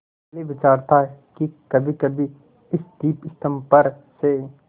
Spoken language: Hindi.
पहले विचार था कि कभीकभी इस दीपस्तंभ पर से